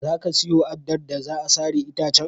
Za ka siyo addar da za a sare itacen?